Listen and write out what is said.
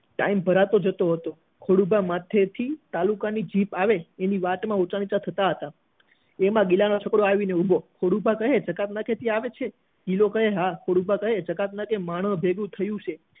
time ભરાતો જતો હતો ખોડુભા માથે થી જીપ આવે એટલે ઊંચા નીચા થતા હતા એમાં ગિલા નો છોકરો આવીને ઉભો ખોડુભા કહે જકાતનાકે આવે છે ગિલો કહે હા ખોડુભા કહે ત્યાં માણસો ભેગાથયા છે